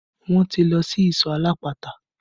Wọn ti lọ sí ìsọ̀ alápatà